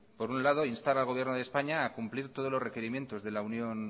por un lado instar al gobierno de españa a cumplir los requerimientos de la unión